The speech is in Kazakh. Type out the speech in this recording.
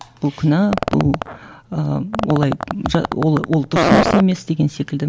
бұл күнә бұл ыыы олай ол ол дұрыс нәрсе емес деген секілді